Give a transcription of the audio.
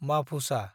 माफुसा